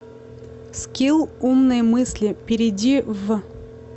скилл умные мысли перейди в